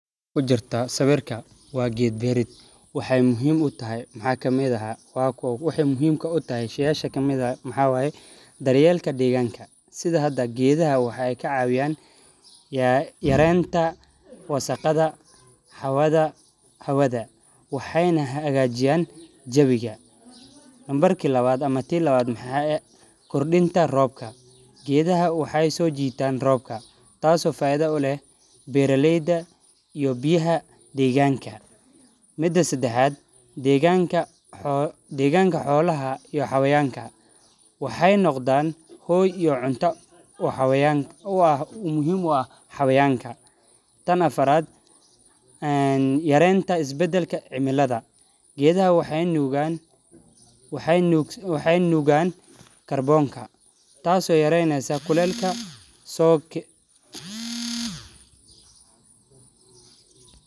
Kujirtaa sawirka waa geed berid waxee muhiim utahay maxaa kamiid ah waxa kamidtaha sheyasha yarenta gedaha wasaqada hawada waxena hagajiyan hawadha kordinta robka geedaha waxee so jitan robka mida sadexaad deganka waxaaa muhiim u ah xayawanka tan afaraad yarenta isbadalka cimilada maxe nugan karbonka tas oo yareynesa kulelka.